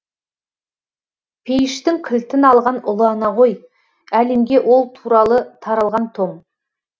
пейіштің кілтін алған ұлы ана ғой әлемге ол туралы таралған том